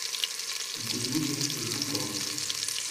дрюне жукову